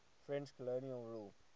french colonial rule